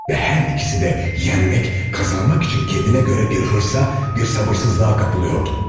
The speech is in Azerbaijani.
Və hər ikisi də yenmək, qazanmaq üçün kəndinə görə bir hırsa, bir sabırsızlığa qapılıyordu.